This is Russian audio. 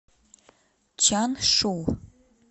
чаншу